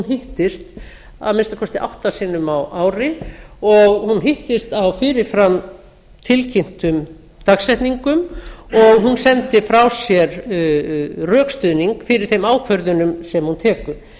hittist að minnsta kosti átta sinnum á ári og hún hittist á fyrir fram tilkynntum dagsetningum og hún sendi frá sér rökstuðning fyrir þeim ákvörðunum sem hún tekur